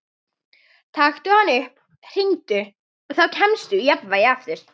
Taktu hann upp, hringdu, og þá kemstu í jafnvægi aftur.